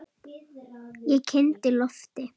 Ég kyngdi lofti.